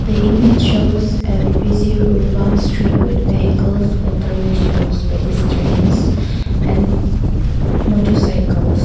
the image shows a busy open street with vehicles auto rickshaws pedestrians and motercycles.